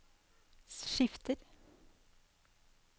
skifter